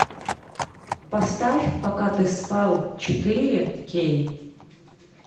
поставь пока ты спал четыре кей